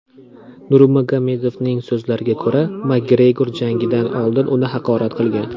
Nurmagomedovning so‘zlariga ko‘ra, Makgregor jangdan oldin uni haqorat qilgan.